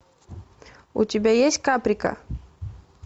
у тебя есть каприка